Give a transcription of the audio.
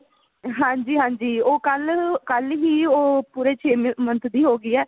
ਹਾਂਜੀ ਹਾਂਜੀ ਉਹ ਕੱਲ ਕੱਲ ਹੀ ਉਹ ਪੂਰੇ ਛੇ month ਦੀ ਹੋ ਗਈ ਹੈ